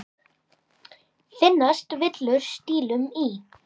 Finnast villur stílum í.